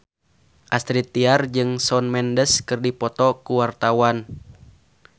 Astrid Tiar jeung Shawn Mendes keur dipoto ku wartawan